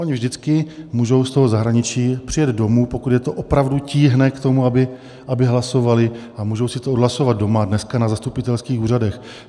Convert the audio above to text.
Oni vždycky můžou z toho zahraničí přijet domů, pokud je to opravdu tíhne k tomu, aby hlasovali, a můžou si to odhlasovat doma, dneska na zastupitelských úřadech.